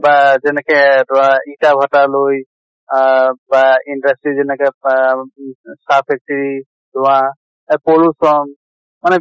বা যেনেকে ধৰা ইটা ভাটা লৈ আহ ৱাহ industry যেনেকে আহ উ উ চাহ factory ধোৱা এ pollution মানে